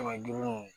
Kɛmɛ duuru